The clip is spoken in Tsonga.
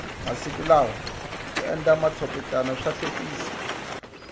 masiku lawa ku endla matshopetana swahlekisa